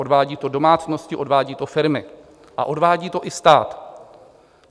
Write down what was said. Odvádí to domácnosti, odvádí to firmy a odvádí to i stát.